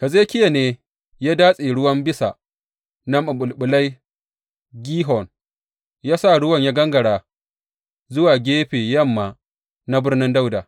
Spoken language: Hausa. Hezekiya ne ya datse ruwan bisa na maɓulɓular Gihon, ya sa ruwan ya gangara zuwa gefe yamma na Birnin Dawuda.